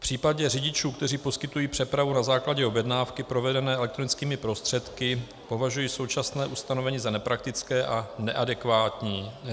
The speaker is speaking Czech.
V případě řidičů, kteří poskytují přepravu na základě objednávky provedené elektronickými prostředky, považuji současné ustanovení za nepraktické a neadekvátní.